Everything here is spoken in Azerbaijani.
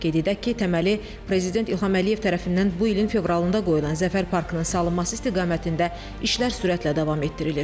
Qeyd edək ki, təməli prezident İlham Əliyev tərəfindən bu ilin fevralında qoyulan zəfər parkının salınması istiqamətində işlər sürətlə davam etdirilir.